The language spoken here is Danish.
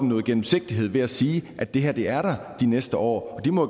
noget gennemsigtighed ved at sige at det her er der de næste år de må